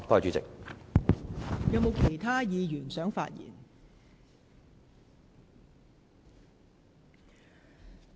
是否有其他議員想發言？